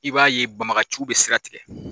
I b'a ye banbagaciw be sira tigɛ.